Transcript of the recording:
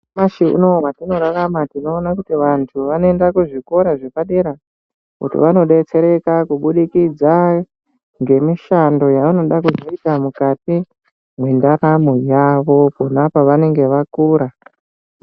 Nyamashi unowu watinorarama tinoona kuti vantu vanoenda kuzvikora zvepadera, kuti vanodetsereka kubudikidza, ngemishando yevanoda kuzoita mukati mwendaramo yavo, pona pavanenge vakura.